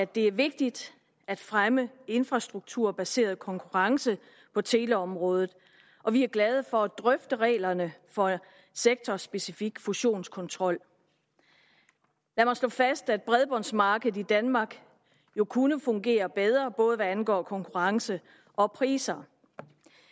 det er vigtigt at fremme infrastrukturbaseret konkurrence på teleområdet og vi er glade for at drøfte reglerne for sektorspecifik fusionskontrol lad mig slå fast at bredbåndsmarkedet i danmark kunne fungere bedre både hvad angår konkurrence og priser